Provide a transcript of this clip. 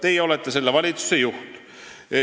Teie olete selle valitsuse juht.